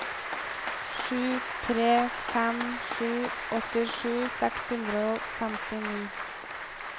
sju tre fem sju åttisju seks hundre og femtini